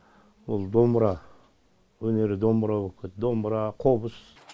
ол домбыра өнері домбыра боп кетті домбыра қобыз